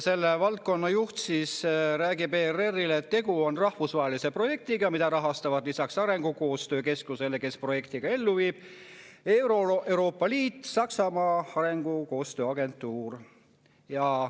Selle valdkonna juht räägib ERR‑ile, et tegu on rahvusvahelise projektiga, mida rahastavad lisaks arengukoostöö keskusele, kes selle projekti ka ellu viib, Euroopa Liit ja Saksamaa arengukoostöö agentuur.